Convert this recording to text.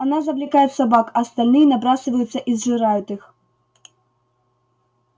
она завлекает собак а остальные набрасываются и сжирают их